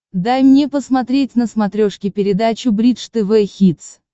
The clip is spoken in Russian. дай мне посмотреть на смотрешке передачу бридж тв хитс